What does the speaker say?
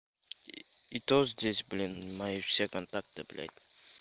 и то здесь блин мои все контакты блять